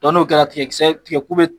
Dɔn n'o kɛrɛ tigɛ tisɛ tigɛ ku be